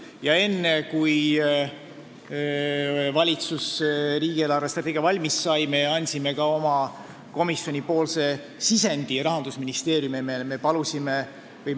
Ja enne, kui valitsus riigi eelarvestrateegia valmis sai, me andsime Rahandusministeeriumile ka oma komisjoni sisendi.